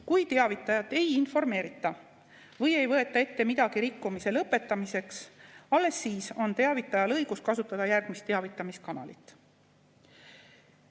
Kui teavitajat ei informeerita või ei võeta ette midagi rikkumise lõpetamiseks, alles siis on teavitajal õigus kasutada järgmist teavitamiskanalit.